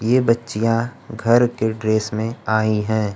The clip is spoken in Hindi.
ये बच्चियां घर के ड्रेस में आई है।